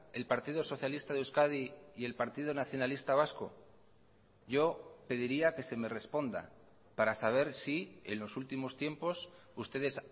el partido socialista de euskadi y el partido nacionalista vasco yo pediría que se me responda para saber si en los últimos tiempos ustedes